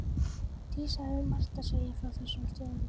Dísa hafði margt að segja frá þessum stöðum.